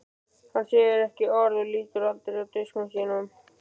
Hann segir ekki orð og lítur aldrei af diski sínum.